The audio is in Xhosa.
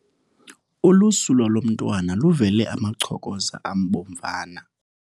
Ulusu lwalo mntwana luvele amachokoza abomvana .